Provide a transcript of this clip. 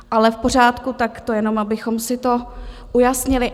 Ale v pořádku, tak to jen abychom si to ujasnili.